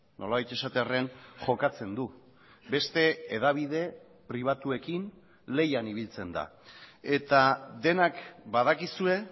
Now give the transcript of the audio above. nolabait esatearren jokatzen du beste hedabide pribatuekin lehian ibiltzen da eta denak badakizue